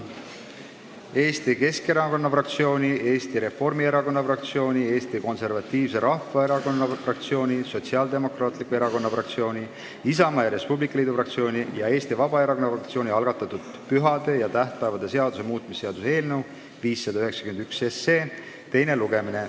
Eesti Keskerakonna fraktsiooni, Eesti Reformierakonna fraktsiooni, Eesti Konservatiivse Rahvaerakonna fraktsiooni, Sotsiaaldemokraatliku Erakonna fraktsiooni, Isamaa ja Res Publica Liidu fraktsiooni ning Eesti Vabaerakonna fraktsiooni algatatud pühade ja tähtpäevade seaduse muutmise seaduse eelnõu 591 teine lugemine.